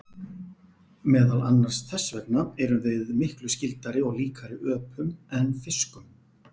Meðal annars þess vegna erum við miklu skyldari og líkari öpum en fiskum.